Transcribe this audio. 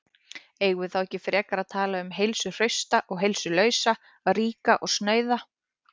Eigum við þá ekki frekar að tala um heilsuhrausta og heilsulausa, ríka og snauða?